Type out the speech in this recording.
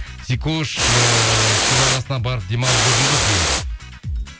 сикош ыыы су жағасына барып демалып үлгірдіңіз бе биыл дейді